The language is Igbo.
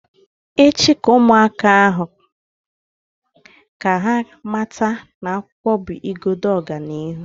Echi, Mee ụmụaka ahu ka ha mata na akwụkwọ bụ igodo ọganihu